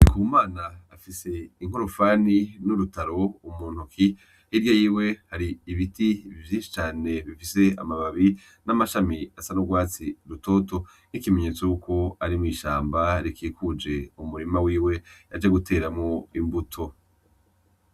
Ku mana afise inkorofani n'urutaro umuntuki hirya yiwe hari ibiti bivyishi cane bifise amababi n'amashami asa n'urwatsi rutoto nk'ikimenyetso yukwo ari mw'ishamba rikikuje umurima wiwe yaje guteramo imbuto.